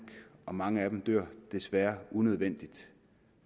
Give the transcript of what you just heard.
og mange af dem dør desværre unødvendigt